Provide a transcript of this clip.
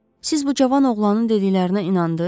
Siz bu cavan oğlanın dediklərinə inandınız?